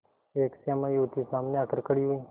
एक श्यामा युवती सामने आकर खड़ी हुई